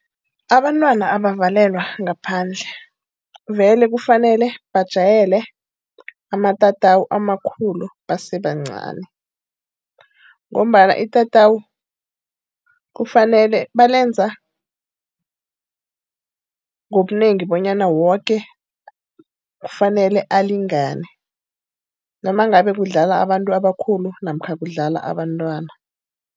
Abantwana abakavalelwa ngaphandle. Vele kufanele bajwayele amatatawu amakhulu basesebancani. Ngombana itatawu kufanele, balenza ngobunengi bonyana woke kufanele alingane noma ngabe kudlala abantu abakhulu namkha kudlala abantwana.